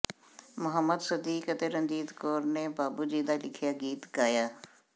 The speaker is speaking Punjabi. ਮਹੁੰਮਦ ਸਦੀਕ ਅਤੇ ਰਣਜੀਤ ਕੌਰ ਨੇ ਬਾਬੂ ਜੀ ਦਾ ਲਿਖਿਆ ਗੀਤ ਗਾਇ ਆ